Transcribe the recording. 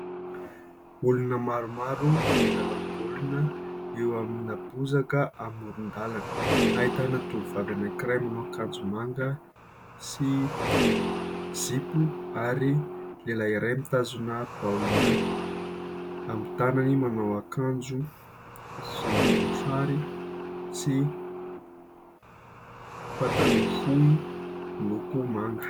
Olona maromaro milalao baolina eo amin'ny bozaka amoron-dalana ahitana tovovavy anakiray manao akanjo manga sy zipo ary lehilahy iray mitazona baolina amin'ny tanany manao akanjo volombosary sy pataloha fohy miloko manga.